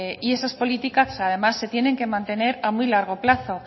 y esas políticas además se tienen que mantener a muy largo plazo